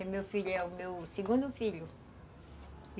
É meu filho, é o meu segundo filho.